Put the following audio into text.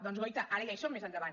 doncs guaita ara ja hi som més endavant